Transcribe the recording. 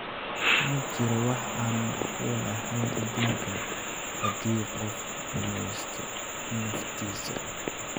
Ma jiro wax aan macquul ahayn adduunkan haddii qofku rumaysto naftiisa.